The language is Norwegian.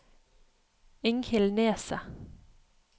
Inghild Neset